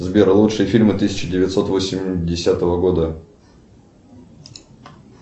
сбер лучшие фильмы тысяча девятьсот восьмидесятого года